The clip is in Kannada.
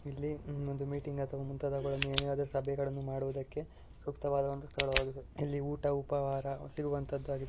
ಇಲ್ಲಿ ಹ್ಮ್ ಒಂದು ಮೀಟಿಂಗ್ ಅಥವಾ ಮುಂತಾದವುಗಳನ್ನು ಏನೇ ಆದರು ಸಭೆಗಳನ್ನ ಮಾಡುವುದಕ್ಕೆ ಸೂಕ್ತವಾದ ಒಂದು ಸ್ಥಳವಾಗಿದೆ ಇಲ್ಲಿ ಊಟ ಉಪಹಾರ ಸಿಗುವಂತದ್ದು ಆಗಿದೆ --